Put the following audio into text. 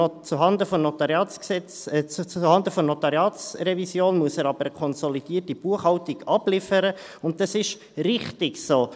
Zuhanden der Notariatsrevision muss er aber eine konsolidierte Buchhaltung abliefern, und das ist richtig so.